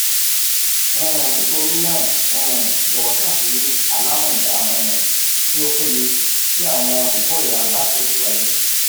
um nitorinaa um jọwọ kan si alamọja um ti o peye ti awọn ikorera ba tẹsiwaju